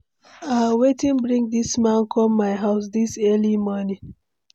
Ah, wetin bring dis man come my house dis early morning?